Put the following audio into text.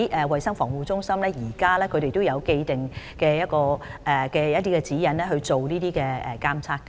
衞生防護中心現時有既定的指引來進行這方面的監測。